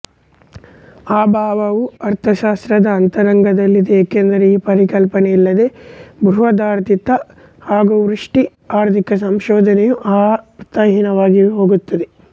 ಅಭಾವವು ಅರ್ಥಶಾಸ್ತ್ರದ ಅಂತರಂಗದಲ್ಲಿದೆ ಏಕೆಂದರೆ ಈ ಪರಿಕಲ್ಪನೆಯಿಲ್ಲದೆ ಬೃಹದಾರ್ಥಿಕ ಹಾಗೂ ವ್ಯಷ್ಟಿ ಆರ್ಥಿಕ ಸಂಶೋಧನೆಯು ಅರ್ಥಹೀನವಾಗಿಹೋಗುತ್ತದೆ